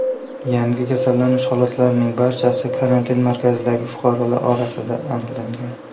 Yangi kasallanish holatlarining barchasi karantin markazidagi fuqarolar orasida aniqlangan.